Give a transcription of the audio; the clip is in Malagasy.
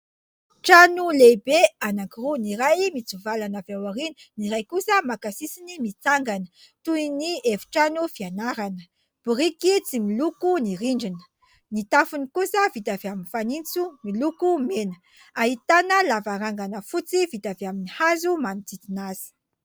Trano lehibe anankiroa, ny iray mitsivalana avy aorina, ny iray kosa maka sisiny mitsangana, toy ny efitrano fianarana, biriky tsy miloko ny rindrina, ny tafony kosa vita avy amin'ny fanitso miloko mena, ahitana lavarangana fotsy vita avy amin'ny hazo manodidina azy.